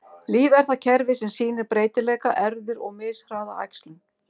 Líf er það kerfi sem sýnir breytileika, erfðir, og mishraða æxlun.